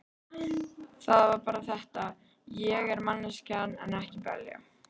Það var bara þetta: Ég er manneskja en ekki belja.